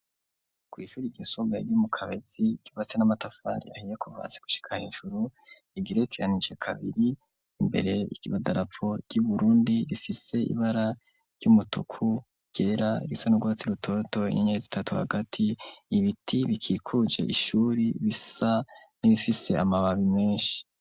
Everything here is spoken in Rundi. Kw'ishure ryisumbuye ryo mu Kabezi ryubatse n'amatafar'ahiye kuva hasi gushika hejuru, rigerekeranije kabiri, imbere idarapo y'Uburundi, rifise ibara ry'umutuku, ryera , risa n'urwatsi rutoto, inyenyeri zitatu hagati, ibiti bikikuje ishuri bisa nibifise amababi menshi.